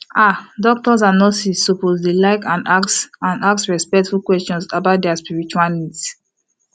ah doctors and nurses suppose to like and ask and ask respectful questions about dia spiritual needs